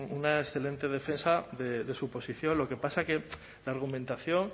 una excelente defensa de su posición lo que pasa que la argumentación